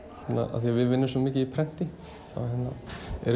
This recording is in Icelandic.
af því við vinnum svo mikið í prenti þá eru